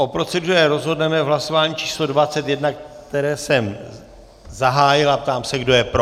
O proceduře rozhodneme v hlasování číslo 21, které jsem zahájil, a ptám se, kdo je pro.